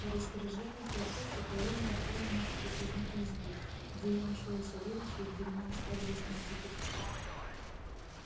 по распоряжению хлопуши караульный отвёл меня в приказную избу где я нашёл и савельича и где меня оставили с ним взаперти